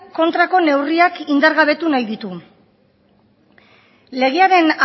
kontra neurriak indargabetu nahi ditu legearen